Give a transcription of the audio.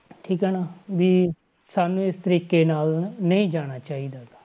ਠੀਕ ਆ ਨਾ ਵੀ ਸਾਨੂੰ ਇਸ ਤਰੀਕੇ ਨਾਲ ਨਹੀਂ ਜਾਣਾ ਚਾਹੀਦਾ ਗਾ।